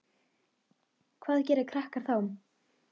Hvað gera krakkar þá?